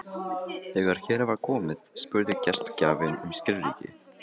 Þegar hér var komið spurði gestgjafinn um skilríki.